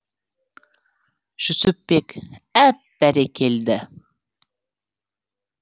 жүсіпбек әп бәрекелді